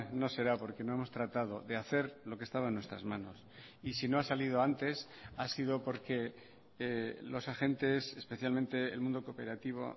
no será porque no hemos tratado de hacer lo que estaba en nuestras manos y si no ha salido antes ha sido porque los agentes especialmente el mundo cooperativo